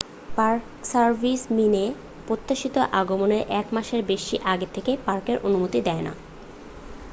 Park service minae প্রত্যাশিত আগমনের এক মাসের বেশি আগে থেকে পার্কের অনুমতি দেয় না।